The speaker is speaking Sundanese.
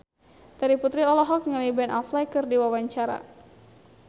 Terry Putri olohok ningali Ben Affleck keur diwawancara